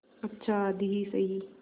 अच्छा आधी ही सही